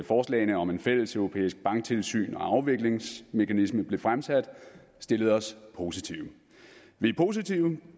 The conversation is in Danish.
forslagene om et fælleseuropæisk banktilsyn og afviklingsmekanisme blev fremsat stillet os positive vi er positive